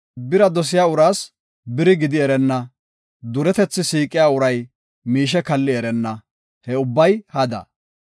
Bira dosiya uraas biri gidi erenna; duretethi siiqiya uray miishe kalli erenna; he ubbay hada.